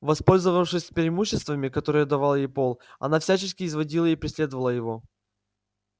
воспользовавшись преимуществами которые давал ей пол она всячески изводила и преследовала его